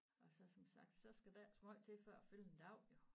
Og så som sagt så skal der ikke så meget til for at fylde en dag jo